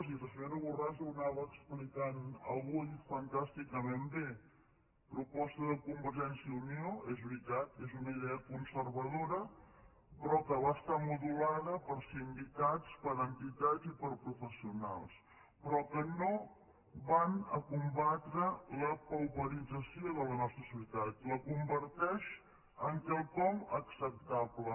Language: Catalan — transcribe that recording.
i la senyora borràs ho anava explicant avui fantàsticament bé proposta de convergència i unió és veritat és una idea conservadora però que va estar modulada per sindicats per entitats i per professionals però que no va a combatre la pauperització de la nostra societat la converteix en quelcom acceptable